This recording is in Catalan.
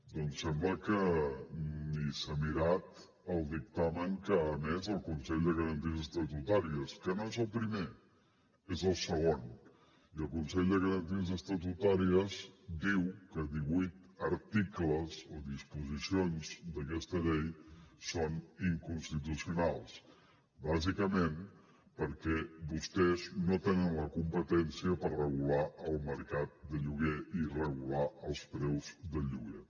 doncs sembla que ni s’ha mirat el dictamen que ha emès el consell de garanties estatutàries que no és el primer és el segon i el consell de garanties estatutàries diu que divuit articles o disposicions d’aquesta llei són inconstitucionals bàsicament perquè vostès no tenen la competència per regular el mercat de lloguer i regular els preus del lloguer